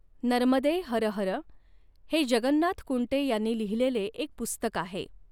नर्मदेऽऽ हर हर हे जगन्नाथ कुंटे ह्यांनी लिहिलेले एक पुस्तक आहे.